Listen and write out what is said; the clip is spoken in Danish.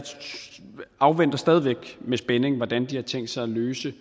afventer stadig væk med spænding hvordan de har tænkt sig at løse